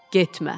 Getmə.